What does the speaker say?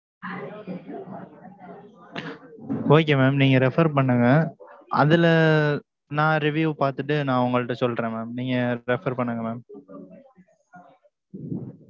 okay mam, நீங்க refer பண்ணுங்க. அதுல, நான் review பார்த்துட்டு, நான் உங்கள்ட்ட சொல்றேன், mam. நீங்க refer பண்ணுங்க mam